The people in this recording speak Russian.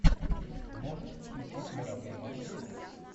можешь включить мировые маршруты